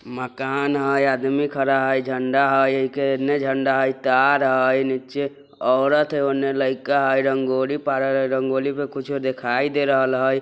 मकान हय आदमी खड़ा हय झंडा हय ऐके ऐन्ने झंडा हय तार हय नीचे औरत है उन्ने लईका हय रंगोली पारल हय रंगोली पे कुछो दिखाई दे रेहल हय।